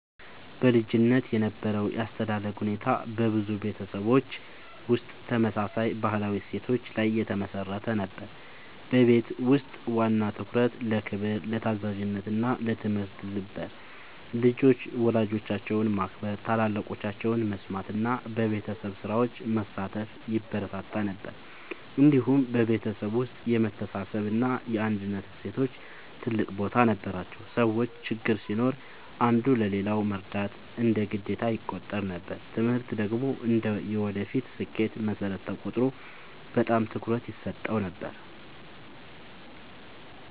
በልጅነት የነበረው የአስተዳደግ ሁኔታ በብዙ ቤተሰቦች ውስጥ ተመሳሳይ ባህላዊ እሴቶች ላይ የተመሠረተ ነበር። በቤት ውስጥ ዋና ትኩረት ለክብር፣ ለታዛዥነት እና ለትምህርት ነበር። ልጆች ወላጆቻቸውን ማክበር፣ ታላላቆቻቸውን መስማት እና በቤተሰብ ስራዎች መሳተፍ ይበረታታ ነበር። እንዲሁም በቤተሰብ ውስጥ የመተሳሰብ እና የአንድነት እሴቶች ትልቅ ቦታ ነበራቸው። ሰዎች ችግር ሲኖር አንዱ ለሌላው መርዳት እንደ ግዴታ ይቆጠር ነበር። ትምህርት ደግሞ እንደ የወደፊት ስኬት መሠረት ተቆጥሮ በጣም ትኩረት ይሰጠው ነበር።